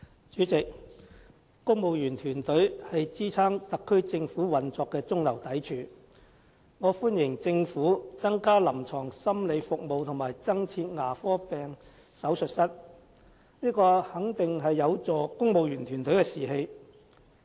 主席，公務員團隊是支撐特區政府運作的中流砥柱，我歡迎政府增加臨床心理服務和增設牙科病手術室，這肯定有助提升公務員團隊的士氣。